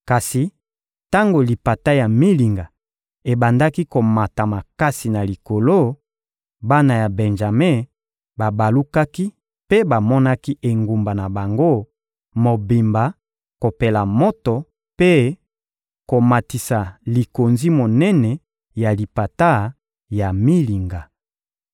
Kasi tango lipata ya milinga ebandaki komata makasi na likolo, bana ya Benjame babalukaki mpe bamonaki engumba na bango mobimba kopela moto mpe komatisa likonzi monene ya lipata ya milinga.